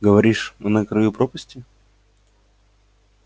говоришь мы на краю пропасти